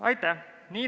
Aitäh!